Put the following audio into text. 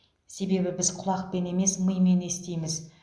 себебі біз құлақпен емес мимен естиміз